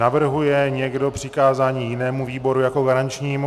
Navrhuje někdo přikázání jinému výboru jako garančnímu?